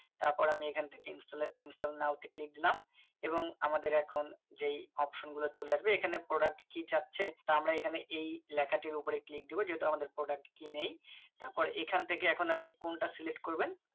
তারপর আমি এখান থেকে install এ install now তে click দিলাম এবং আমাদের এখন যে Option গুলো চলে আসবে এখানে Product কি যাচ্ছে তা আমরা এখানে এই লেখাটির উপরে click দেব যেটা আমাদের product key নেই তারপর এখান থেকে এখন আপনি কোনটা Select করবেন